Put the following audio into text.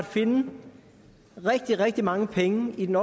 finde rigtig rigtig mange penge i den